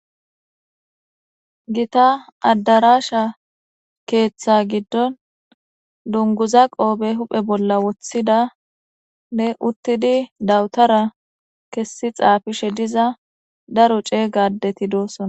Githa addaraasha keeththa giddon dunguza qoobe huphe bolla woththidanne uththidi dawuthara kessi xaafishe diza daro ceega addethi doosona.